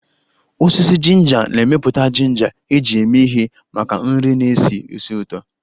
Osisi ginger na-emepụta ginger eji eme ihe maka nri na-esi ísì ụtọ